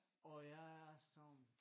Og jeg er sådan